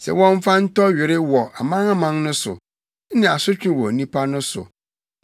sɛ wɔmfa ntɔ were wɔ amanaman no so ne asotwe wɔ nnipa no so,